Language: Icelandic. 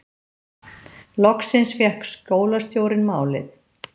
Loksins fékk skólastjórinn málið